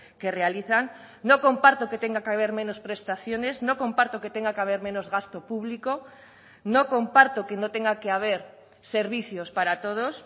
que realizan no comparto que tenga que haber menos prestaciones no comparto que tenga que haber menos gasto público no comparto que no tenga que haber servicios para todos